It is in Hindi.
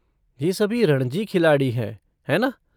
ये सभी रणजी खिलाड़ी हैं, है ना?